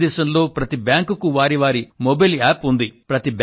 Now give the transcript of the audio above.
భారతేదశంలో ప్రతి బ్యాంకుకు వారి మొబైల్ యాప్ అంటూ ఉంది